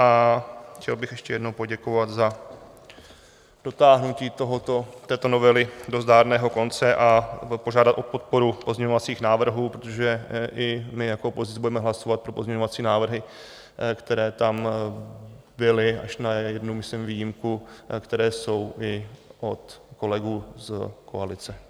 A chtěl bych ještě jednou poděkovat za dotáhnutí tohoto, této novely do zdárného konce a požádat o podporu pozměňovacích návrhů, protože i my jako opozice budeme hlasovat pro pozměňovací návrhy, které tam byly, až na jednu myslím výjimku, které jsou i od kolegů z koalice.